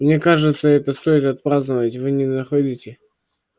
мне кажется это стоит отпраздновать вы не находите